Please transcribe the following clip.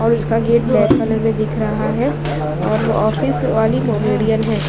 और इसका गेट दिख रहा हैं और ऑफिस वाली मोमेडीयन हैं ।